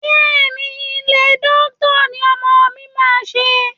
Bẹ́ẹ̀ ni, Iẹ́ dókítà ní ọmọ mi máa ṣe.